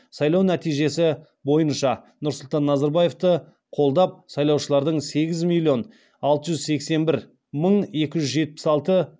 сайлау нәтижесі бойынша нұрсұлтан назарбаевты қолдап сайлаушылардың сегіз миллион алты жүз сексен бір мың екі жүз жетпіс алты